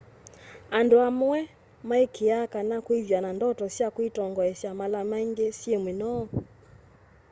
andu amwe maikiiaa kana kwithwa na ndoto sya kwitongoesya mala maingi syi minoo